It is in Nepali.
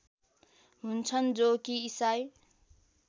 हुन्छन् जो कि ईसाई